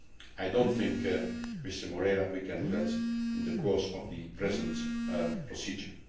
I do not think, Mr Moreira, that we can do that in the course of the present procedure.